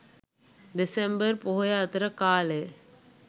දෙසැම්බර් පොහොය අතර කාලය.